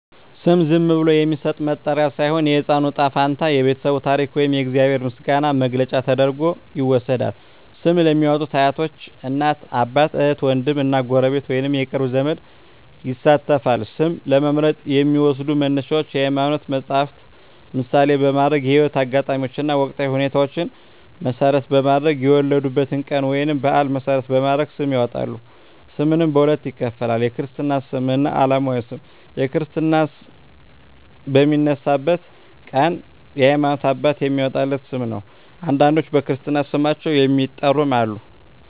ስም ዝም ብሎ የሚሰጥ መጠሪያ ሳይሆን፣ የሕፃኑ ዕጣ ፈንታ፣ የቤተሰቡ ታሪክ ወይም የእግዚአብሔር ምስጋና መግለጫ ተደርጎ ይወሰዳል። ስም ለሚያዎጡት አያቶች፣ እናት አባት፣ እህት ዎንድም እና ጎረቤት ወይንም የቅርብ ዘመድ ይሳተፋል። ስም ለመምረጥ የሚዎሰዱ መነሻዎች የሀይማኖት መፀሀፍትን ምሳሌ በማድረግ፣ የህይወት አጋጣሚዎችን እና ወቅታዊ ሁኔታዎችን መሰረት በማድረግ፣ የወለዱበትን ቀን ወይንም በአል መሰረት በማድረግ ስም ያወጣሉ። ስምንም በሁለት ይከፈላል። የክርስትና ስም እና አለማዊ ስም ነው። የክርስትና ስም ክርስትና በሚነሳበት ቀን የሀይማኖት አባት የሚያዎጣለት ስም ነው። አንዳንዶች በክርስትና ስማቸው የሚጠሩም አሉ።